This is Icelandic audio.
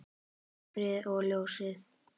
Myrkrið og ljósið.